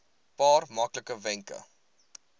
paar maklike wenke